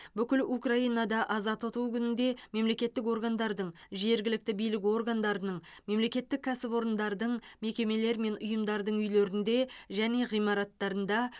бүкіл украинада аза тұту күнінде мемлекеттік органдардың жергілікті билік органдарының мемлекеттік кәсіпорындардың мекемелер мен ұйымдардың үйлерінде және ғимараттарында